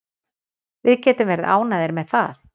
Við getum verið ánægðir með það.